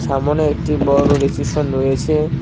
সামোনে একটি বড় রিসেপশন রয়েছে।